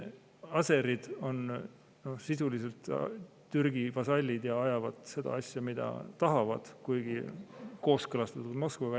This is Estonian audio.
Aserid on sisuliselt Türgi vasallid ja ajavad seda asja, mida tahavad, kuigi kooskõlastatult Moskvaga.